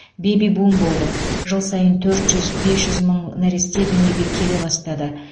бэби бум болды жыл сайын төрт жүз бес жүз мың нәресте дүниеге келе бастады